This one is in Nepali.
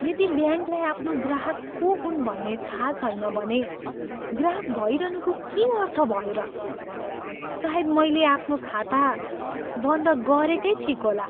यदि ब्याङ्कलाई आफ्नो ग्राहक को हुन् भन्ने थाहा छैन भने, ग्राहक भइरहनुको के अर्थ भयो र? सायद मैले आफ्नो खाता बन्द गरेकै ठिक होला।